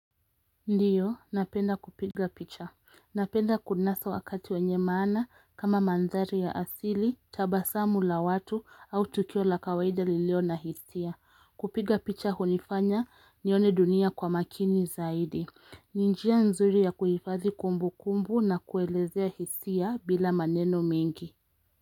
Ndiyo, napenda kupiga picha. Napenda kunasa wakati wenye maana kama mandhari ya asili, tabasamu la watu au tukio la kawaida lilio na hisia. Kupiga picha hunifanya nione dunia kwa makini zaidi. Ni njia nzuri ya kuhifadhi kumbukumbu na kuelezea hisia bila maneno mengi.